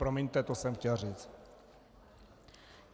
Promiňte, to jsem chtěl říci.